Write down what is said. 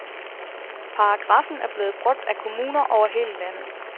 Paragrafen er blevet brugt af kommuner over hele landet.